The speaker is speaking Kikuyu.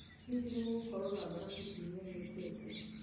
hihi nĩ gũgukorwo na barafu kiumia giũkĩte